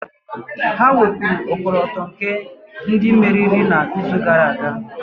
Ha wepụrụ ọkọlọtọ nke otu ndị meriri n'izu gara aga.